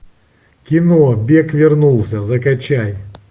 кино бек вернулся закачай